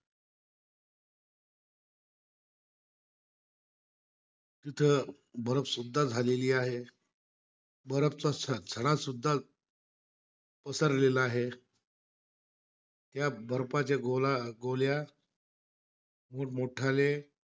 तिथं सुद्धा झालेली आहे. चा सडा सुद्धा पसरलेला आहे. या बर्फाच्या गोला गोल्यात, मोट मोठाले